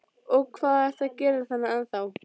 Og hvað ertu að gera þarna ennþá?